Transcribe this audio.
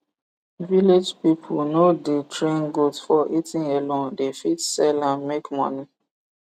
village ppipul no the train goat for eating alone dey fit sell am make moni